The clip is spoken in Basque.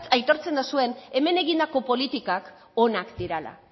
aitortzen dozuen hemen egindako politikak onak direla